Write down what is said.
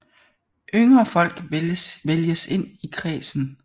Yngre folk vælges ind i ledelsen